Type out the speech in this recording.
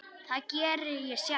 Það geri ég sjálf.